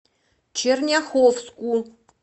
черняховску